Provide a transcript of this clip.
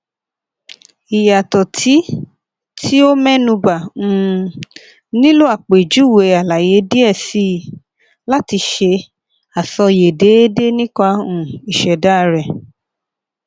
iyatọ ti ti o mẹnuba um nilo apejuwe alaye diẹ sii lati ṣe asọye deede nipa um iseda rẹ